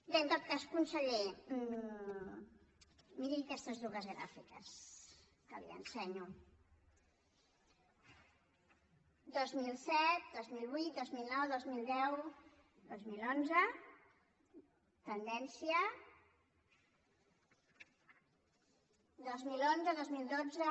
bé en tot cas conseller miri aquestes dues gràfiques que li ensenyo dos mil set dos mil vuit dos mil nou dos mil deu dos mil onze tendència dos mil onze dos mil dotze